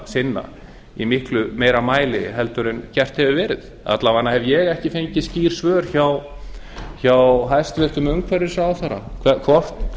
sinna í miklu meira mæli en gert hefur verið alla vega hef ég ekki fengið skýr svör hjá hæstvirtur umhverfisráðherra um hvort